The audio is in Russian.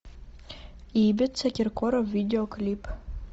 ибица киркоров видеоклип